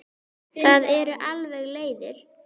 Það eru alveg leiðir.